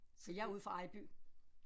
Så jeg er ude fra Ejby